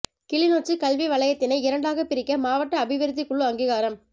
கிளிநொச்சி கல்வி வலயத்தினை இரண்டாக பிரிக்க மாவட்ட அபிவிருத்தி குழு அங்கீகாரம்